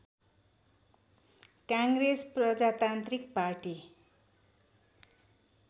काङ्ग्रेस प्रजातान्त्रिक पार्टी